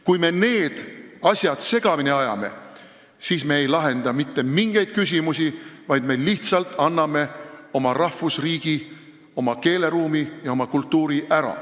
Kui me need asjad segamini ajame, siis me ei lahenda mitte mingeid küsimusi, vaid me lihtsalt anname oma rahvusriigi, oma keeleruumi ja oma kultuuri ära.